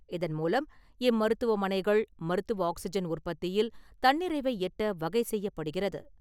இதன் மூலம், இம்மருத்துவமனைகள், மருத்துவ ஆக்சிஜன் உற்பத்தியில் தன்னிறைவை எட்ட வகை செய்யப்படுகிறது.